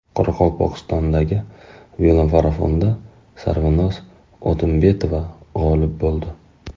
Qoraqalpog‘istondagi velomarafonda Sarvinoz O‘tembetova g‘olib bo‘ldi.